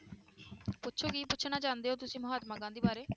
ਪੁੱਛੋ ਕੀ ਪੁੱਛਣਾ ਚਾਹੁੰਦੇ ਹੋ ਤੁਸੀਂ ਮਹਾਤਮਾ ਗਾਂਧੀ ਬਾਰੇ।